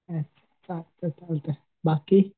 हं चालतंय चालतंय बाकी